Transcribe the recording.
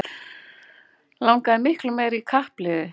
Langaði miklu meira í klappliðið